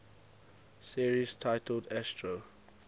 series titled astro